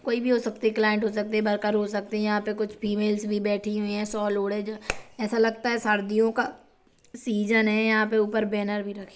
--कोई भी हो सकती है क्लांइट हो सकती है वर्कर हो सकते है यहां पर कुछ फीमेल्स भी बैठी हुई है सॉल ओढ हे ऐसा लगता है सर्दियों का सीजन है यहां पर ऊपर में बैनर भी रखे है।